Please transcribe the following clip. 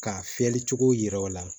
K'a fiyɛli cogo yira o la